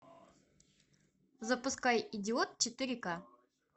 запускай идиот четыре к